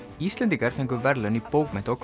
Íslendingar fengu verðlaun í bókmennta og